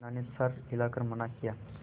बिन्दा ने सर हिला कर मना किया